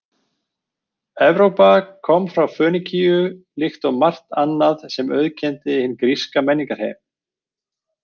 Evrópa kom frá Fönikíu líkt og margt annað sem auðkenndi hinn gríska menningarheim.